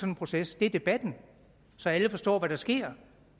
en proces er debatten så alle forstår hvad der sker